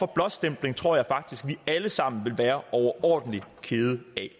blåstempling tror jeg faktisk at vi alle sammen ville være overordentlig kede af